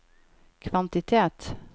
kvantitet